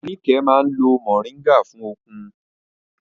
Níkẹ̀ máa ń lo Mọ̀ríngà fún okun